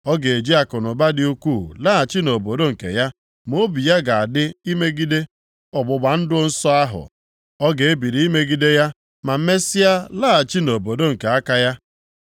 Ọ ga-eji akụnụba dị ukwuu laghachi nʼobodo nke ya ma obi ya ga-adị imegide ọgbụgba ndụ nsọ ahụ. Ọ ga-ebili imegide ya ma mesịa laghachi nʼobodo nke aka ya.